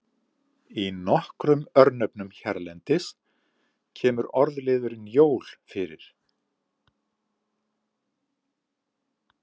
Í nokkrum örnefnum hérlendis kemur orðliðurinn jól fyrir.